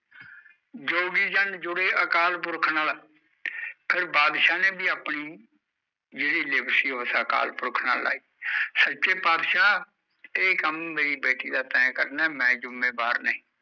ਜੋਗੀ ਜਨ ਜੁੜੇ ਅਕਾਲ ਪੁਰਖ ਨਾਲ਼ ਫਿਰ ਬਾਦਸ਼ਾਹ ਨੇ ਵੀ ਆਪਣੀ ਜਿਹੜੀ ਲਿਵ ਸੀ ਉਹ ਉਸ ਅਕਾਲ ਪੁਰਖ ਨਾਲ਼ ਲਾਈ ਸੱਚੇ ਪਾਤਸ਼ਾਹ ਇਹ ਕੰਮ ਮੇਰੀ ਬੇਟੀ ਦਾ ਤੈਂ ਕਰਨਾ ਮੈਂ ਜੁਮੇਵਾਰ ਨਹੀਂ।